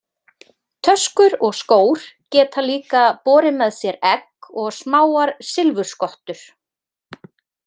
Töskur og skór geta líka borið með sér egg og smáar silfurskottur.